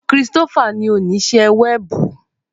Christopher ni onise wẹẹbu.